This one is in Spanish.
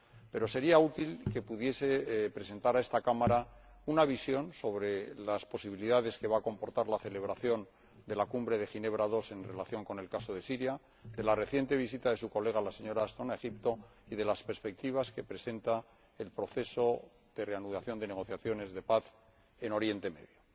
Pero sería útil que pudiese presentar a esta Cámara una visión sobre las posibilidades que va a comportar la celebración de la Cumbre de Ginebra II en relación con el caso de Siria, la reciente visita de su colega, la señora Ashton, a Egipto y las perspectivas que presenta el proceso de reanudación de negociaciones de paz en Oriente Próximo.